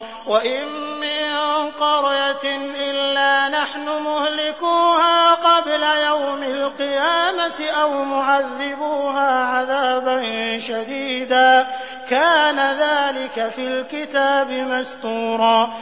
وَإِن مِّن قَرْيَةٍ إِلَّا نَحْنُ مُهْلِكُوهَا قَبْلَ يَوْمِ الْقِيَامَةِ أَوْ مُعَذِّبُوهَا عَذَابًا شَدِيدًا ۚ كَانَ ذَٰلِكَ فِي الْكِتَابِ مَسْطُورًا